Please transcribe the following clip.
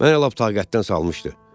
Mən elə lap taqətdən salmışdı.